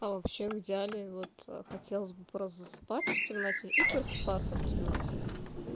а вообще в идеале вот хотелось бы просто засыпать в темноте и просыпаться в темноте